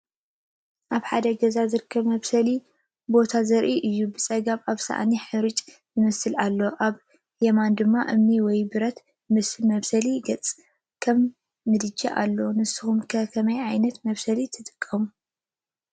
ኣብ ሓደ ገዛ ዝርከብ መብሰሊ ቦታ ዘርኢ እዩ። ብጸጋም ኣብ ሳእኒ ሓርጭ ዝመስል ኣሎ፤ ኣብ የማን ድማ እምኒ ወይ ብረት ዝመስል መብሰሊ ገጽ፡ ከም ምድጃ ኣሎ። ንስኩም ከ ከመይ ዓይነት መብሰሊ ትጥቀሙ?